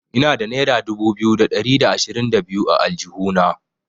Ina da naira dubu biyu da ɗari da ashirin da biyu a aljihuna.